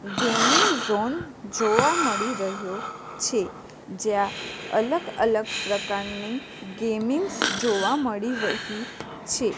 Gaming zone જોવા મળી રહ્યો છે જ્યાં અલગ અલગ પ્રકારની ગેમિંગ્સ જોવા મળી રહી છે.